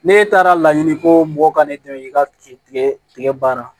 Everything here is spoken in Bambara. Ne taara laɲini koo mɔgɔ ka ne dɛmɛ i ka tigɛ baara